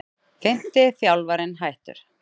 Fimmti þjálfarinn hættur